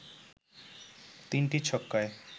৩টি ছক্কায়